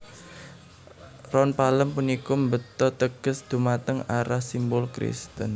Ron palem puniki mbeta teges dhumateng arah simbol Kristen